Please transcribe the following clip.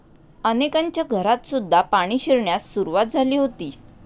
अनेकांच्या घरातसुद्धा पाणी शिरण्यास सुरुवात झाली होती.